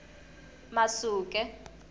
masuke